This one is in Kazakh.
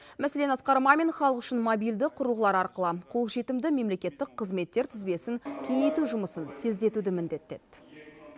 мәселен асқар мамин халық үшін мобильді құрылғылар арқылы қолжетімді мемлекеттік қызметтер тізбесін кеңейту жұмысын тездетуді міндеттеді